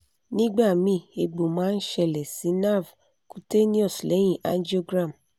nigbami egbo ma n sele si nerve cutaneous lehin angiogram